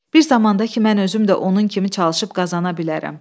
Bir zamanda ki, mən özüm də onun kimi çalışıb qazana bilərəm."